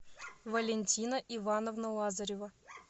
валентина ивановна лазарева